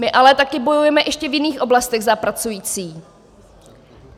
My ale také bojujeme ještě v jiných oblastech za pracující.